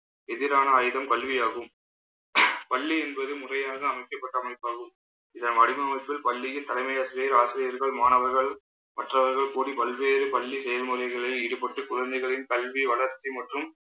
எதிரான ஆயுதம் பல்வியாகும். பள்ளி என்பது முறையாக அமைக்கப்பட்ட அமைப்பாகும். இதன் வடிவமைப்பு பள்ளியில் தலைமை ஆசிரியர் ஆசிரியர்கள் மாணவர்கள் மற்றவர்கள் கூடி பல்வேறு பள்ளி செயல்முறைகளில் ஈடுபட்டு குழந்தைகளின் கல்வி வளர்ச்சி மற்றும்